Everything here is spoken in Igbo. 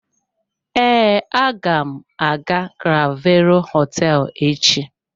Ee, aga m aga clavero hoteelu echi.